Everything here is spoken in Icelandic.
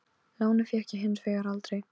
Lánið fékk ég hins vegar aldrei.